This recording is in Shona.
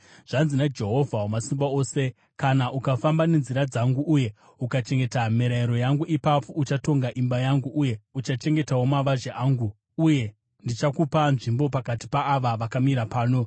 “Zvanzi naJehovha Wamasimba Ose: ‘Kana ukafamba nenzira dzangu uye ukachengeta mirayiro yangu, ipapo uchatonga imba yangu uye uchachengetawo mavazhe angu, uye ndichakupa nzvimbo pakati paava vakamira pano.